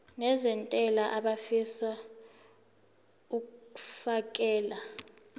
nezentela abafisa uukfakela